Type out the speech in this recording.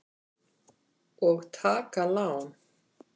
Og taka lán.